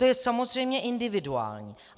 To je samozřejmě individuální.